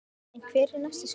En hver eru næstu skref?